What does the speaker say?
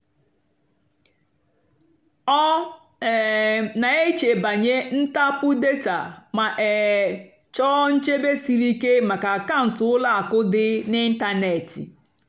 ọ́ um nà-èchè bànyè ntàpụ́ dátà mà um chọ́ọ́ nchèbè síríké màkà àkàụ́ntụ́ ùlọ àkụ́ dì n'ị́ntánètị́.